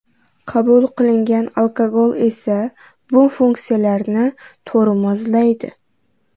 Qabul qilingan alkogol esa bu funksiyalarni tormozlaydi .